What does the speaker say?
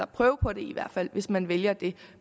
prøve på det hvis man vælger det